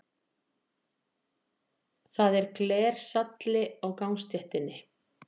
Það var glersalli á gangstéttinni.